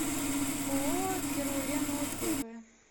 ооо керулен отзывы